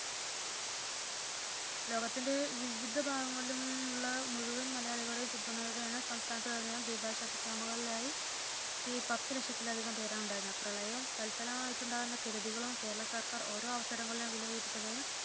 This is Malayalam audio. ലോകത്തിന്റെ വിവിധ ഭാഗങ്ങണിലുമുള്ള മുഴുവൻ മലയാളികളുടെയും പിന്തുണയോടെ ആണ് സംസ്ഥാനത്തിലെ മുഴുവൻ ദുരിതാശ്വാസ ക്യാമ്പ്കളിലുമായി പത്തു ലക്ഷത്തിലധികം പേർ ഉണ്ടായിരുന്നത് പ്രളയവും തത്‌ഫലമായുണ്ടാകുന്ന കെടുതികളും കേരള സർക്കാർ ഓരോ കൊല്ലവും വിലയിരുത്തുകയും